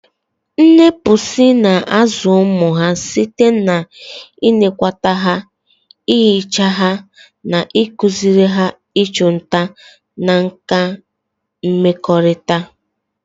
Nne buusu na-azụ ụmụ ha site n'ịnekwata ha, ihicha ha, na ịkụziri ha ịchụ nta na nkà mmekọrịta.